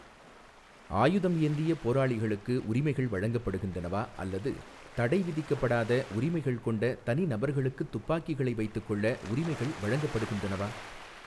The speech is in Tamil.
ஆயுதம் ஏந்திய போராளிகளுக்கு உரிமைகள் வழங்கப்படுகின்றனவா அல்லது தடை விதிக்கப்படாத உரிமைகள் கொண்ட தனிநபர்களுக்குத் துப்பாக்கிகளை வைத்துக்கொள்ள உரிமைகள் வழங்கப்படுகின்றனவா?